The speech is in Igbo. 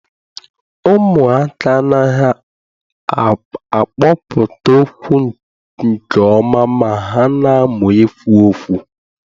Ụmụaka anaghị akpọpụta okwu nke ọma ma ha na-amụ ikwu okwu.